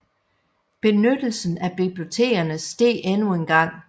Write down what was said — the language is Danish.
Benyttelsen af bibliotekerne steg endnu en gang